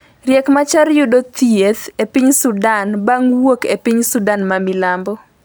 Riek Machar yudo thieth e piny Sudan bang' wuok e piny Sudan ma milambo